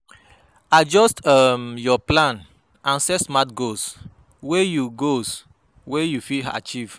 Adjust um your plan and set smart goals wey you goals wey you fit achieve